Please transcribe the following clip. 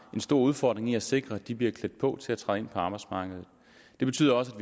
en stor udfordring i at sikre at de bliver klædt på til at træde ind på arbejdsmarkedet det betyder også